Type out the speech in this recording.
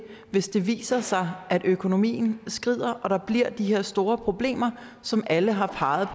hvis det viser sig at økonomien skrider og der bliver de her store problemer som alle har peget